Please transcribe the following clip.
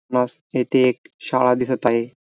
येथे एक शाळा दिसत आहे.